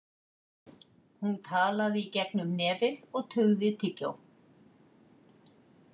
Hún talaði í gegnum nefið og tuggði tyggjó.